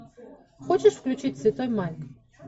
хочешь включить святой майк